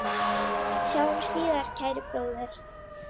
Sjáumst síðar, kæri bróðir.